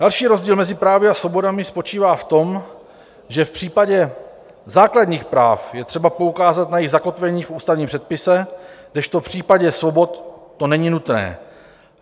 Další rozdíl mezi právy a svobodami spočívá v tom, že v případě základních práv je třeba poukázat na jejich zakotvení v ústavním předpise, kdežto v případě svobod to není nutné.